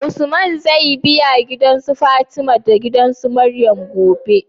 Usman zai bi su fatima gidan marayun gobe?